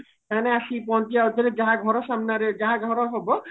ସେମାନେ ଆସିକି ପହଞ୍ଚିବା ଯାହା ଘର ସାମ୍ନାରେ ଯାହା ଘର ହବ